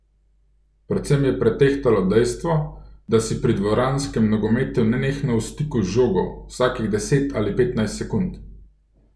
Predvsem je pretehtalo dejstvo, da si pri dvoranskem nogometu nenehno v stiku z žogo, vsakih deset ali petnajst sekund.